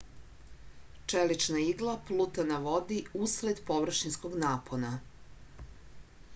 čelična igla pluta na vodi usled površinskog napona